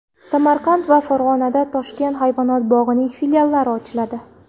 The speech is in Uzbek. Samarqand va Farg‘onada Toshkent hayvonot bog‘ining filiallari ochiladi.